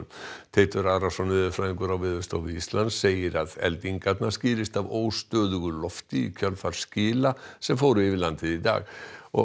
Teitur Arason veðurfræðingur á Veðurstofu Íslands segir að eldingarnar skýrist af óstöðugu lofti í kjölfar skila sem fóru yfir landið í dag og